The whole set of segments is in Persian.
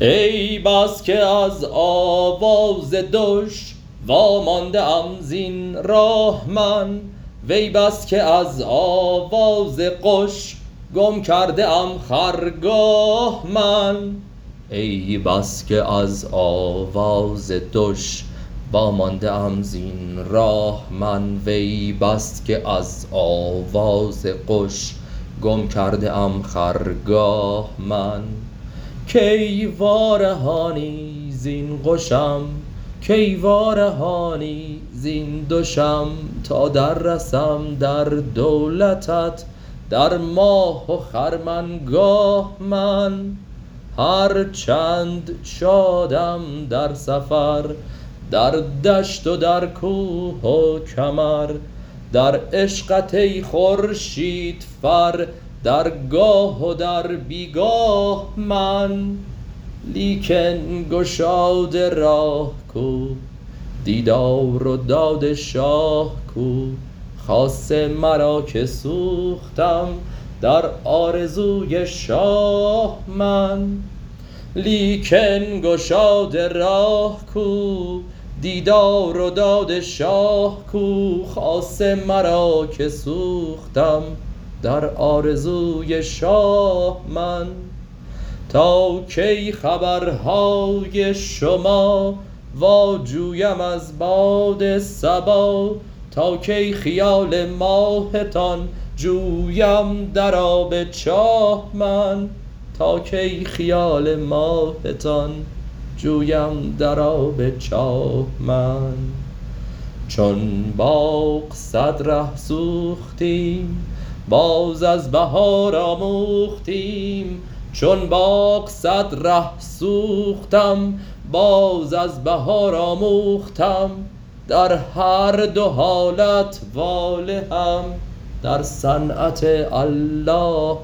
ای بس که از آواز دش وامانده ام زین راه من وی بس که از آواز قش گم کرده ام خرگاه من کی وارهانی زین قشم کی وارهانی زین دشم تا دررسم در دولتت در ماه و خرمنگاه من هر چند شادم در سفر در دشت و در کوه و کمر در عشقت ای خورشیدفر در گاه و در بی گاه من لیکن گشاد راه کو دیدار و داد شاه کو خاصه مرا که سوختم در آرزوی شاه من تا کی خبرهای شما واجویم از باد صبا تا کی خیال ماهتان جویم در آب چاه من چون باغ صد ره سوختم باز از بهار آموختم در هر دو حالت والهم در صنعت الله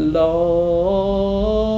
من